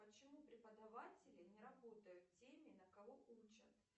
почему преподаватели не работают теми на кого учат